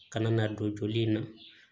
Kana na don joli in na